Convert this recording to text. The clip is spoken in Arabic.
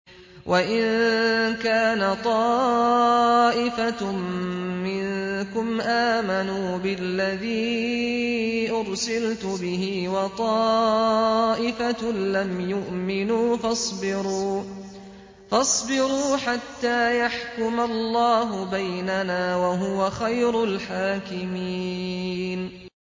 وَإِن كَانَ طَائِفَةٌ مِّنكُمْ آمَنُوا بِالَّذِي أُرْسِلْتُ بِهِ وَطَائِفَةٌ لَّمْ يُؤْمِنُوا فَاصْبِرُوا حَتَّىٰ يَحْكُمَ اللَّهُ بَيْنَنَا ۚ وَهُوَ خَيْرُ الْحَاكِمِينَ